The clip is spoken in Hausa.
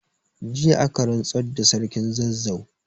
Jiya aka rantsar da Sarkin Zazzau.